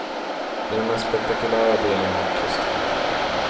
Det är den mest spektakulära delen av kustvägen.